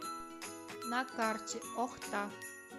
на карте охта